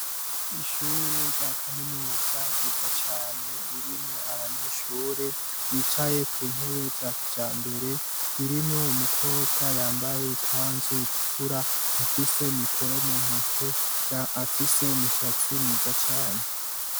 Ishure rya kaminuza yiza cane ririmwo abanyeshure bicaye ku ntebe za kijambere ririmwo umukobwa yambaye ikanzu itukura afise mikoro mu ntoke afise umushatsi mwiza cane.